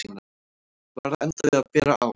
Var að enda við að bera á